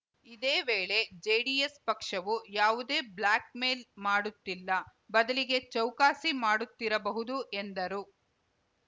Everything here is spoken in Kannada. ಇದೇವೇಳೆ ಜೆಡಿಎಸ್‌ ಪಕ್ಷವು ಯಾವುದೇ ಬ್ಲ್ಯಾಕ್‌ಮೇಲ್ ಮಾಡುತ್ತಿಲ್ಲ ಬದಲಿಗೆ ಚೌಕಾಸಿ ಮಾಡುತ್ತಿರಬಹುದು ಎಂದರು